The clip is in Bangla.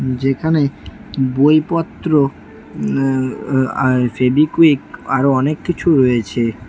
যেখানে বইপত্র উম আ আ ফেভিকুইক আরও অনেক কিছু রয়েছে।